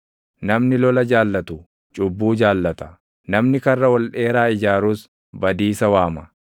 Namni lola jaallatu cubbuu jaallata; namni karra ol dheeraa ijaarus badiisa waama.